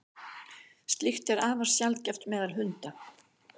slíkt er afar sjaldgæft meðal hunda